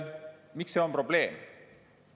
Miks see on probleem?